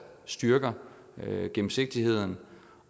styrker gennemsigtigheden